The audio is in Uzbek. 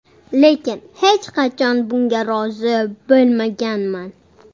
Lekin hech qachon bunga rozi bo‘lmaganman.